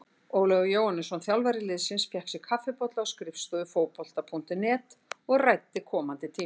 Ólafur Jóhannesson, þjálfari liðsins, fékk sér kaffibolla á skrifstofu Fótbolta.net og ræddi komandi tímabil.